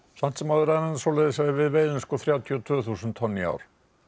samt sem áður er það svo að við veiðum þrjátíu og tvö þúsund tonn í ár